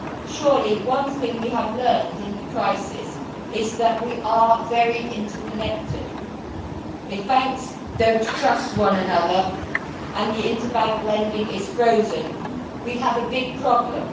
surely one thing we have learned in the crisis is that we are very interconnected. If banks do not trust one another and inter bank lending is frozen, we have a big problem.